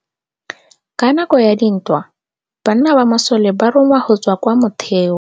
Ka nakô ya dintwa banna ba masole ba rongwa go tswa kwa mothêô.